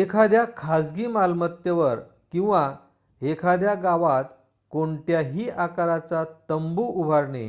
एखाद्या खाजगी मालमत्तेवर किंवा एखाद्या गावात कोणत्याही आकाराचा तंबू उभारणे